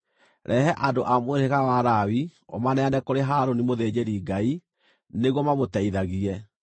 “Rehe andũ a mũhĩrĩga wa Lawi ũmaneane kũrĩ Harũni mũthĩnjĩri-Ngai, nĩguo mamũteithagie.